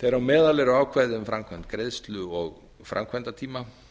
þeirra á meðal eru ákvæði um framkvæmd greiðslu og framkvæmdatíma